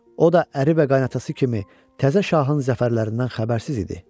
O da əri və qayınatası kimi təzə şahın zəfərlərindən xəbərsiz idi.